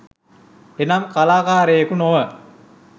එනම් කලාකාරයකු නොව